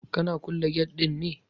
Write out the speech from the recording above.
Kana kulle gate ɗin ne?